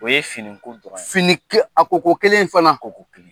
O ye fini ko dɔrɔn ye. Fini ke a ko ko kelen fana.